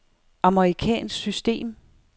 amerikansk system